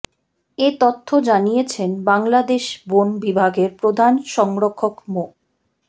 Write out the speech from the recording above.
এ তথ্য জানিয়েছেন বাংলাদেশ বন বিভাগের প্রধান সংরক্ষক মো